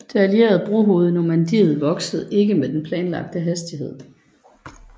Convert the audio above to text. Det allierede brohoved i Normandiet voksede ikke med den planlagte hastighed